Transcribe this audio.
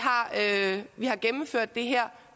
har gennemført det her og